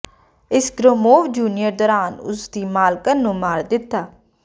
ਇਸ Gromov junior ਦੌਰਾਨ ਉਸ ਦੀ ਮਾਲਕਣ ਨੂੰ ਮਾਰ ਦਿੱਤਾ